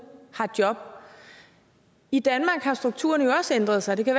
har job i danmark har strukturerne jo også ændret sig det kan